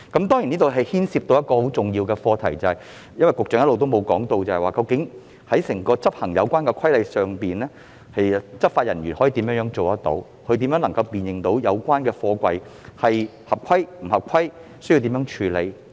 當中牽涉一個很重要的課題，就是運輸及房屋局局長一直沒有提到，執法人員究竟如何執行有關規例，即如何辨認貨櫃是否合規及須如何處理。